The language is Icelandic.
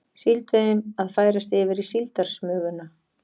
Síldveiðin að færast yfir í síldarsmuguna